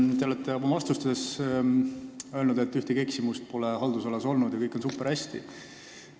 Te olete oma vastustes öelnud, et teie haldusalas pole ühtegi eksimust olnud ja kõik on superhästi.